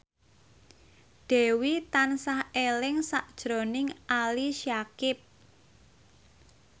Dewi tansah eling sakjroning Ali Syakieb